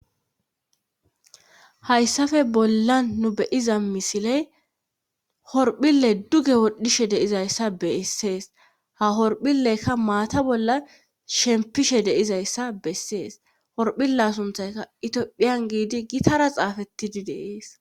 Hayssafe bolla nu beyiza misiley horphile duge wodhishe deizayssa beessees ha horphilekka maata bolla shempishe deizayssa bessees horphile sunthayka itiophiyan giidi gitara xaafettidi deees.